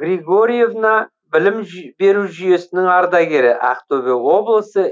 григорьевна білім беру жүйесінің ардагері ақтөбе облысы